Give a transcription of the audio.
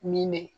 Min bɛ